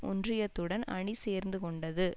ஒன்றியத்துடன் அணி சேர்த்து கொண்டது